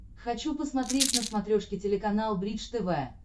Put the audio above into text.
хочу посмотреть на смотрешке телеканал бридж тв